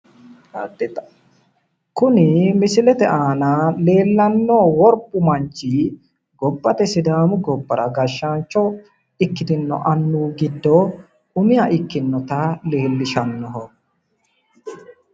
Kuni misilete aana leellannohu worbu manchi gobbate sidaamu gobbara gashshaancho ikkitinno annuwi giddo umiha ikkinnota leellishannoho.